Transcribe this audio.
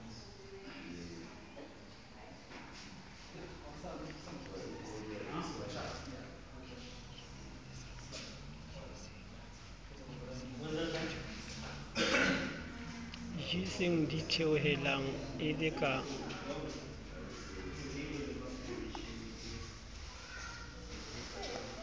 jeseng ditheohelang e le ka